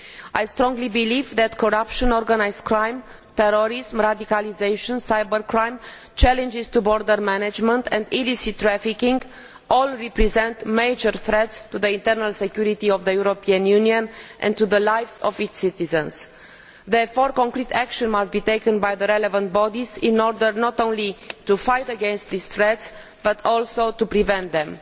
I strongly believe that corruption, organised crime, terrorism, radicalisation, cyber crime, challenges to border management and illicit trafficking all represent major threats to the internal security of the European Union and to the lives of its citizens. Therefore concrete action must be taken by the relevant bodies in order not only to fight against these threats but also to prevent them.